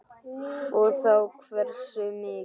Og þá hversu mikið.